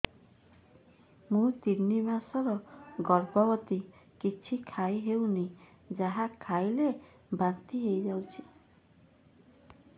ମୁଁ ତିନି ମାସର ଗର୍ଭବତୀ କିଛି ଖାଇ ହେଉନି ଯାହା ଖାଇଲେ ବାନ୍ତି ହୋଇଯାଉଛି